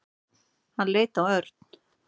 Hann leit á Örn.